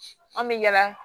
An bɛ yala